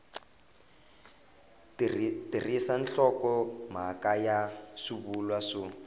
tirhisa nhlokomhaka na swivulwa swo